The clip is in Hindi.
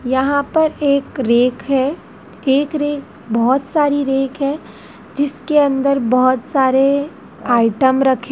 यहां पर एक रैक है एक रैक बहोत सारी रैक है जिसके अंदर बहोत सारे आइटम रखे--